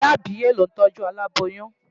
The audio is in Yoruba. Ìyá àbíyè ló ń tọ́jú aláboyún.